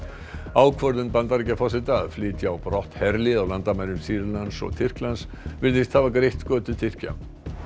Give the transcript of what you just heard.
ákvörðun Bandaríkjaforseta að flytja á brott herlið á landamærum Sýrlands og Tyrklands virðist hafa greitt götu Tyrkja